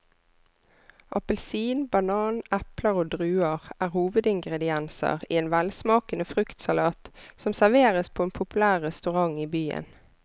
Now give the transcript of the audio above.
Appelsin, banan, eple og druer er hovedingredienser i en velsmakende fruktsalat som serveres på en populær restaurant i byen.